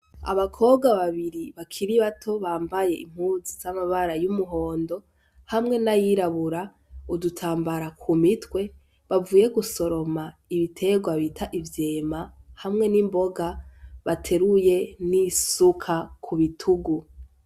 Abakobwa babiri bakiri bato bambaye impuzu z'amabara y'umuhondo hamwe n'ayirabura, udutambara ku mitwe bavuye gusoroma ibiterwa bita ivyema hamwe n'imboga bateruye n'isuka ku bitugu.